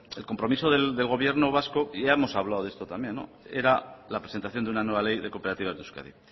el compromiso del gobierno vasco ya hemos hablado de esto también era la presentación de una nueva ley de cooperativas de euskadi